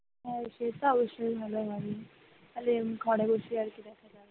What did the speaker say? সে তো অবশ্যই ভালো হয় তাহলে ঘরে বসে আর কি দেখা যাবে।